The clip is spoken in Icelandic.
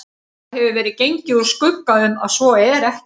Það hefur verið gengið úr skugga um, að svo er ekki